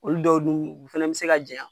Olu dɔw dun fana be se ka janya